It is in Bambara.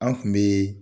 An kun be